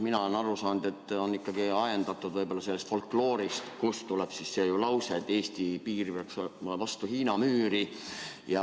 Mina olen aru saanud, et see on ikkagi ajendatud võib-olla sellest folkloorist, kust pärineb see lause, et Eesti piir peaks käima vastu Hiina müüri.